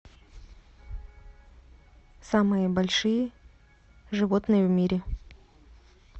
самые большие животные в мире